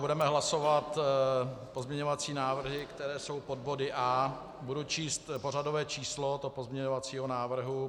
Budeme hlasovat pozměňovací návrhy, které jsou pod body A. Budu číst pořadové číslo toho pozměňovacího návrhu.